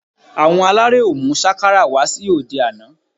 Àwọn aláré ò mú sákàrà wá sí òde àná